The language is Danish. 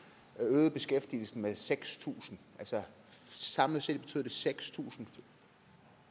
øgede beskæftigelsen med seks tusind samlet set betød seks tusind